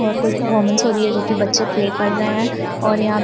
और कोई पर्फोमंस हो रही है जोकि बच्चे प्ले कर रहे है और यहाँ पे --